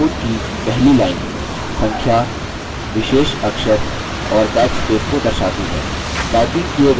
keyboard की पहली line संख्या विशेष अक्षर और backspace की दर्शाती है